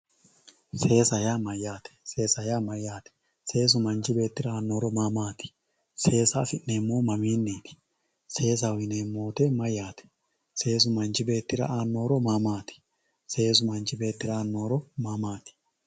seesa yaa mayyaate seesa yaa mayyaate seesu manchi beettira aanno horo maa maati seesa afi'neemmohu maminniiti seesaho yineemmo woyiite mayyaate seesu manchi beettira aanno horo maa maati seesu manchi beettira aanno horo maa maati.